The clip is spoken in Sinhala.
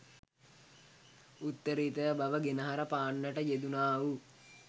උත්තරීතර බව ගෙනහැර පාන්නට යෙදුණාවූ